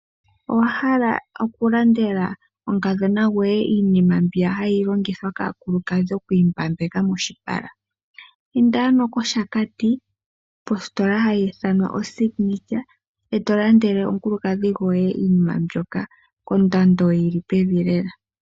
Owa hala oku landela omukadhona goye iinima mbiya hayi longithwa kaakulukadhi oku imbambeka moshipala. Inda ano koshakati positola hayi ithanwa oSignature eto landele omukulukadhi goye iinima mbyoka kondando yili pevi lela.